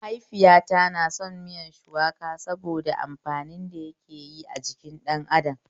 Mahaifiyata na son miyar shukuwa saboda amfanin da yake yi a jikin ɗan adam